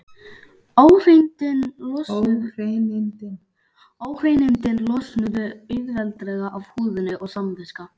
Óhreinindin losnuðu auðveldlega af húðinni og samviska